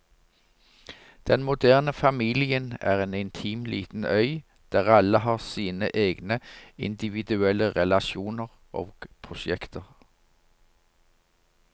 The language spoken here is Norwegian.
Den moderne familien er en intim liten øy, der alle har sine egne individuelle relasjoner og prosjekter.